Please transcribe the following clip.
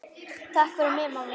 Takk fyrir þig, mamma mín.